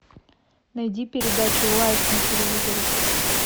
найди передачу лайф на телевизоре